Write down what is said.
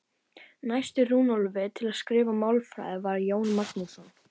Næstur Runólfi til að skrifa málfræði var Jón Magnússon.